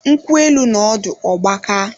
Nkwụ élú nọ ọdụ ọ gbakaa